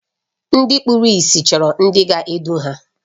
Ndị kpụrụ ịsị chọrọ ndị ga-edu ha.